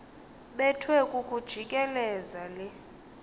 bethwe kukujikeleza le